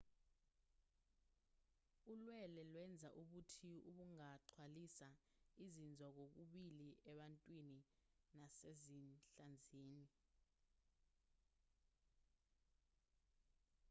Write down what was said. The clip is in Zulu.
ulwele lwenza ubuthi obungaxhwalisa izinzwa kokubili ebantwini nasezinhlanzini